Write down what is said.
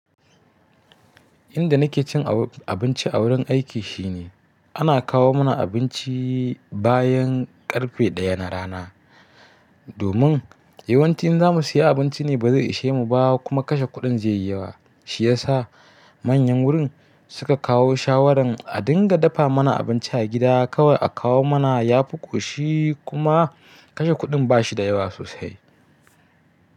Inda nake cin abinci a wurin aiki shine ana kawo mana abinci bayan karfe ɗaya na rana. Domin yawanci in za mu siya abinci ne ba zai ishe mu ba kuma kashe kuɗin zai yi yawa. Shi ya sa manyan wurin suka kawo shawaran a dinga dafa mana abinci a gida kawai a kawo mana. Ya fi ƙushi kuma kashe kuɗin ba shi da yawa sosai.